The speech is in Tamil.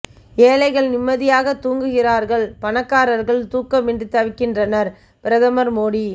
ஏழைகள் நிம்மதியாக தூங்குகிறார்கள் பணக்காரர்கள் தூக்கம் இன்றி தவிக்கின்றனர் பிரதமர் மோடி